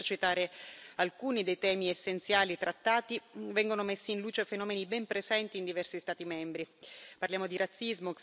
Anche in questa relazione, per citare alcuni dei temi essenziali trattati, vengono messi in luce fenomeni ben presenti in diversi Stati membri.